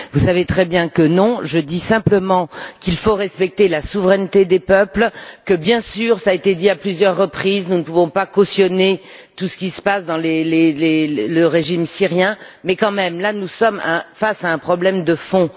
Vous savez très bien que non. Je dis simplement qu'il faut respecter la souveraineté des peuples, que, bien sûr, cela a été dit à plusieurs reprises, nous ne pouvons pas cautionner tout ce qui se passe dans le régime syrien, mais que, quand même, là, nous sommes face à un problème de fond.